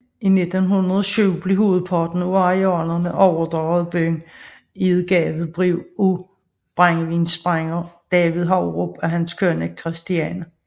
I 1907 blev hovedparten af arealerne overdraget byen i et gavebrev af brændevinsbrænder David Haubro og hans kone Christiane